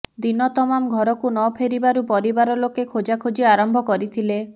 ଦିନ ତମାମ ଘରକୁ ନଫେରିବାରୁ ପରିବାର ଲୋକେ ଖୋଜାଖୋଜି ଆରମ୍ଭ କରିଥିଲେ